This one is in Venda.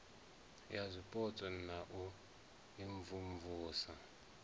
ya zwipotso na u imvumvusa